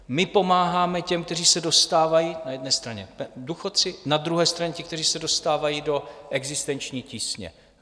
My pomáháme těm, kteří se dostávají - na jedné straně důchodci, na druhé straně ti, kteří se dostávají do existenční tísně.